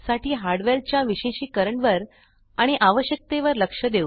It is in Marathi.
साठी हार्डवेअर च्या विशेषिकरण वर आणि आवश्यकते वर लक्ष देऊ